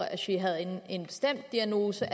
jeg ved også